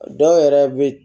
Dɔw yɛrɛ bɛ